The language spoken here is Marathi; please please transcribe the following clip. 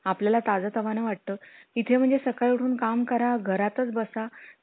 आपल्याला ताजं तामण वाटतं, इथे म्हणजे सकाळ उठून काम करा, घरातच बसा